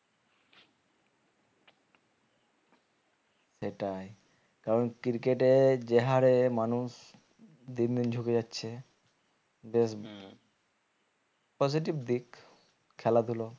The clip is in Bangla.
সেটাই কারণ cricket এর যে হারে মানুষ দিন দিন ঝুকে যাচ্ছে বেশ positive দিক খেলা ধুলো